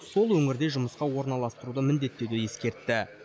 сол өңірде жұмысқа орналастыруды міндеттеуді ескертті